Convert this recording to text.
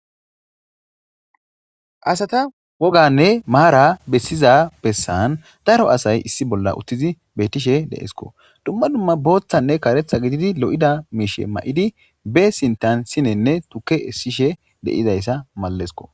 Asata woganne maara bessiza bessan daro asay uttidi beetishe de7ees. duma duma botha ne karetha misha mayidi be sinthani sinene tuke esishe malesiko